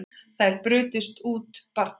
Þar brutust út bardagar